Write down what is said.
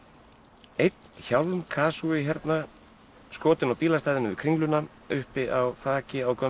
einn hérna skotinn á bílastæðinu við Kringluna uppi á þaki á gömlum